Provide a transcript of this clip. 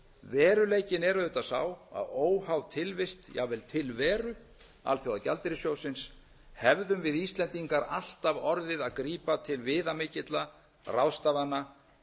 veruleikinn er auðvitað sá að óháð tilvist jafnvel tilveru alþjóðagjaldeyrissjóðsins hefðum við íslendingar alltaf orðið að grípa til viðamikilla ráðstafana